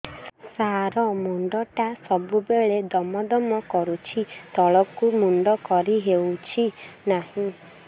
ସାର ମୁଣ୍ଡ ଟା ସବୁ ବେଳେ ଦମ ଦମ କରୁଛି ତଳକୁ ମୁଣ୍ଡ କରି ହେଉଛି ନାହିଁ